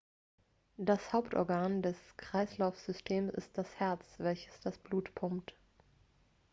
das hauptorgan des kreislaufsystems ist das herz welches das blut pumpt